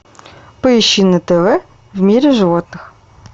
поищи на тв в мире животных